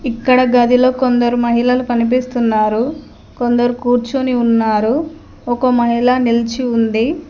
ఇక్కడ గదిలో కొందరు మహిళలు కనిపిస్తున్నారు కొందరు కూర్చొని ఉన్నారు ఒక మహిళ నిల్చి ఉంది.